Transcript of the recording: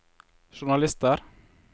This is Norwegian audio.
journalister